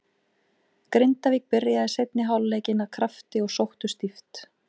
Grindavík byrjaði seinni hálfleikinn af krafti og sóttu stíft.